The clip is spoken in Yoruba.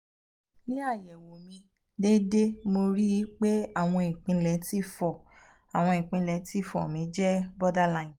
ni ayẹwo mi deede mo ri i pe awọn ipele t four awọn ipele t four mi je borderline